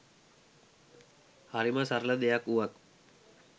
හරිම සරල දෙයක් වුවත්